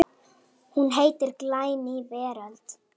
Hún heitir Glæný veröld.